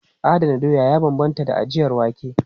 Adana doya ya bambanta da ajiyar wake.